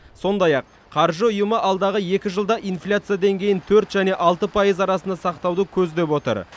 сондай ақ қаржы ұйымы алдағы екі жылда инфляция деңгейін төрт және алты пайыз арасында сақтауды көздеп отыр